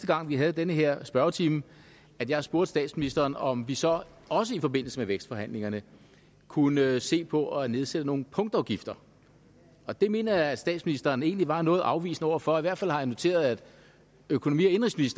gang vi havde den her spørgetime at jeg spurgte statsministeren om vi så også i forbindelse med vækstforhandlingerne kunne se på at nedsætte nogle punktafgifter og det mener jeg at statsministeren egentlig var noget afvisende over for i hvert fald har jeg noteret at økonomi